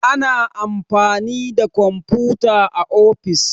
Ana amfani da komfuta a ofis